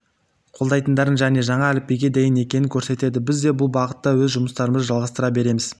қолдайтындарын және жаңа әліпбиге дайын екенін көрсетеді біз де бұл бағытта өз жұмыстарымызды жалғастыра береміз